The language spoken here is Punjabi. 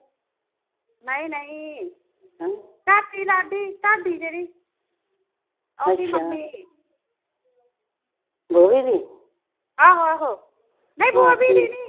ਨਈਂ ਨਈਂ। ਤੁਹਾਡੀ ਲਾਡੀ ਤੁਹਾਡੀ ਜਿਹੜੀ, ਉਹਦੀ ਮੰਮੀ ਬੌਬੀ ਦੀ? ਆਹੋ ਆਹੋ। ਨਈਂ ਬੌਬੀ ਦੀ ਨਈਂ